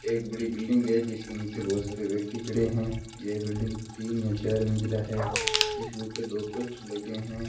एक बड़ी बिल्डिंग है जिसके नीचे बहुत सारे व्यक्ति खड़े हैं यह बिल्डिंग तीन या चार मंजिला है इसके ऊपर दो पोस्टर लगे हैं।